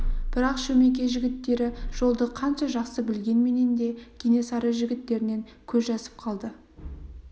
бірақ шөмекей жігіттері жолды қанша жақсы білгенменен де кенесары жігіттерінен көз жазып қалады